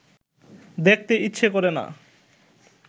দেখতে ইচ্ছা করে না